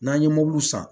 N'an ye mobiliw san